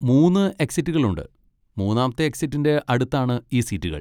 മൂന്ന് എക്സിറ്റുകളുണ്ട്, മൂന്നാമത്തെ എക്സിറ്റിൻ്റെ അടുത്താണ് ഈ സീറ്റുകൾ.